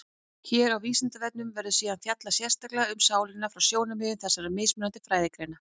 Hér á Vísindavefnum verður síðar fjallað sérstaklega um sálina frá sjónarmiðum þessara mismunandi fræðigreina.